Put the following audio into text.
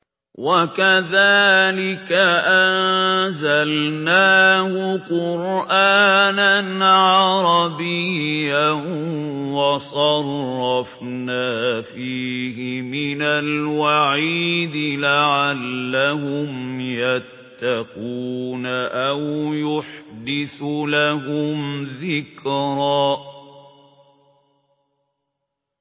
وَكَذَٰلِكَ أَنزَلْنَاهُ قُرْآنًا عَرَبِيًّا وَصَرَّفْنَا فِيهِ مِنَ الْوَعِيدِ لَعَلَّهُمْ يَتَّقُونَ أَوْ يُحْدِثُ لَهُمْ ذِكْرًا